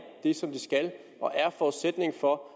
det som de skal og er en forudsætning for